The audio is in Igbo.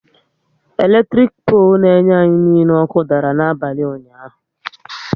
Eletirik polu n'enye ógbè anyị niile ọkụ dara n'abalị ụnyaahụ